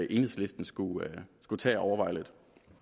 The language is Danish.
enhedslisten skulle tage at overveje lidt